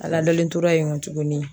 A ladalen tora yen kɔ tuguni